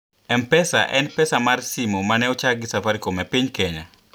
M-Pesa en pesa mar simo ma ne ochak gi Safaricom e piny Kenya.